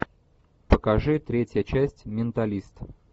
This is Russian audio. покажи третья часть менталист